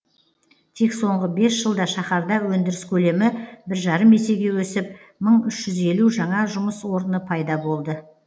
тек соңғы бес жылда шаһарда өндіріс көлемі бір жарым есеге өсіп мың үш жүз елу жаңа жұмыс орны пайда болды